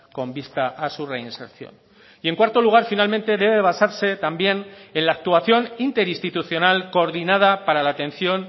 con vista a su reinserción y en cuarto lugar finalmente debe basarse también en la actuación interinstitucional coordinada para la atención